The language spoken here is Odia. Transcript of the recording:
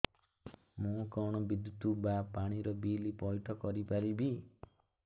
ମୁ କଣ ବିଦ୍ୟୁତ ବା ପାଣି ର ବିଲ ପଇଠ କରି ପାରିବି